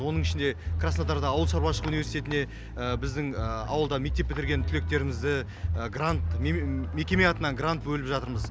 оның ішінде краснодарда ауыл шаруашылық университетіне біздің ауылда мектеп бітірген түлектерімізді мекеме атынан грант бөліп жатырмыз